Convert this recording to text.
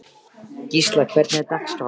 Gísla, hvernig er dagskráin?